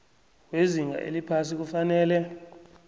wezinga eliphasi kufanele